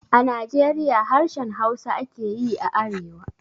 A Najeriya harshen Hausa ake yi a arewa